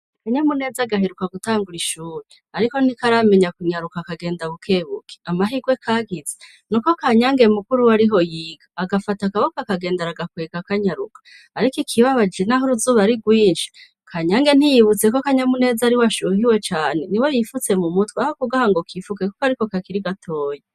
Kanyamuneza agahiruka gutangura ishuri, ariko ntikaramenya kunyaruka akagenda bukebuke amahirwe kagize ni uko kanyange mukuru wo ariho yiga agafata akaboko akagenda aragakwega akanyaruka, ariko ikibabaje, naho uruzuba ari rwinshi kanyange ntiyibutseko kanyamuneza ari weashuhiwe cane ni we yifutse mu mutwe aho kugaha ngo kifukekuko, ariko kakira gatoya.